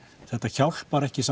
þetta hjálpar ekki